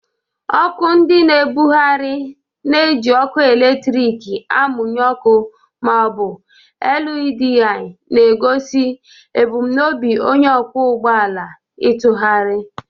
Ọkụ ndị na-ebugharị na-eji ọkụ eletrik amụnye ọkụ ma ọ bụ LEDI, na-egosi ebumnobi onye ọkwọ ụgbọ ala ịtụgharị.